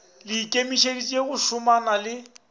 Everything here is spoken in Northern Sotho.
le ikemišetše go šomana le